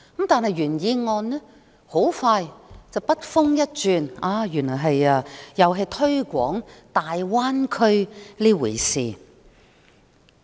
但是，原議案很快便筆鋒一轉，又推廣大灣區。